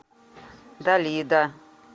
далида